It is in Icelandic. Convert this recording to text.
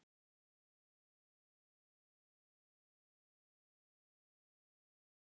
Voru mistök í einkavæðingunni?